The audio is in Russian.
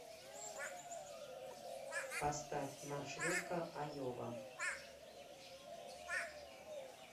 поставь маршрутка айова